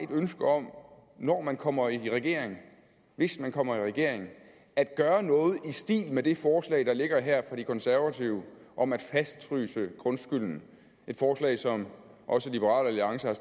ønske om når man kommer i regering hvis man kommer i regering at gøre noget i stil med det forslag der ligger her fra de konservative om at fastfryse grundskylden et forslag som også liberal alliance har